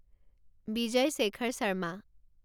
Vijay Shekhar Sharma